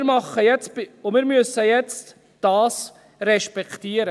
Das müssen wir jetzt respektieren.